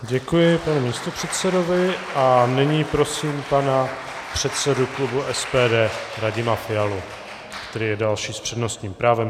Děkuji panu místopředsedovi a nyní prosím pana předsedu klubu SPD Radima Fialu, který je další s přednostním právem.